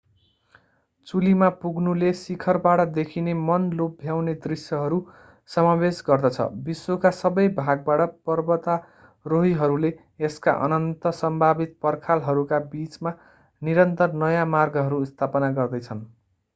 चुलीमा पुग्नुले शिखरबाट देखिने मन लोभ्याउने दृश्यहरू समावेश गर्दछ विश्वका सबै भागबाट पर्वतारोहीहरूले यसका अनन्त सम्भावित पर्खालहरूका बीचमा निरन्तर नयाँ मार्गहरू स्थापना गर्दैछन्